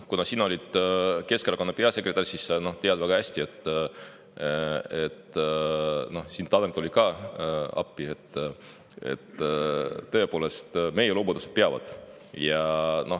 Kuna sa oled olnud Keskerakonna peasekretär, siis sa tead väga hästi – Tanel tuli ka siin appi –, et meie lubadused tõepoolest peavad.